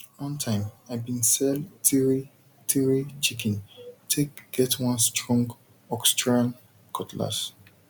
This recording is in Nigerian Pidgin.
one time i been sell three three chicken take get one strong austrian cutlass